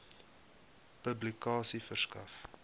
publikasie verskaf